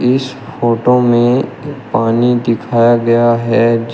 इस फोटो में एक पानी दिखाया गया है जी।